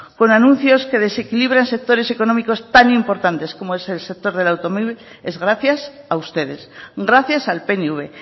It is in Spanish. con anuncios que desequilibran sectores económicos tan importantes como es el sector del automóvil es gracias a ustedes gracias al pnv